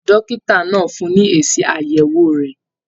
Dókítà náà fún ní èsì ayẹwo rẹ.